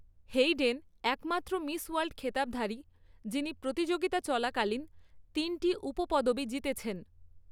Hayden একমাত্র Miss World খেতাবধারী, যিনি প্রতিযোগিতা চলাকালীন তিনটি উপপদবি জিতেছেন।